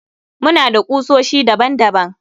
Muna da kusoshi daban daban